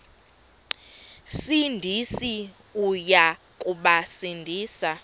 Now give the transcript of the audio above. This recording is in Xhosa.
sindisi uya kubasindisa